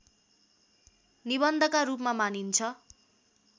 निबन्धका रूपमा मानिन्छ